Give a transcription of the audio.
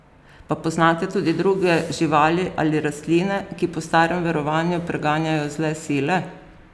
Pa poznate tudi druge živali ali rastline, ki po starem verovanju preganjajo zle sile?